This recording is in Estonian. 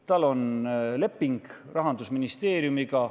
Tal on leping Rahandusministeeriumiga.